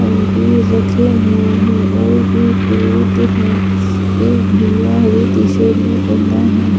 अंगूर रखे हुए है और एक फ्रूट है एक भैया हरे टी-शर्ट भी पहना है ।